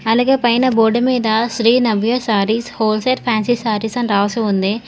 అలాగే పైన బోర్డు మీద శ్రీ నవ్య సారీస్ హోల్సేల్ ఫ్యాన్సీ సారీస్ అని రాసి ఉంది.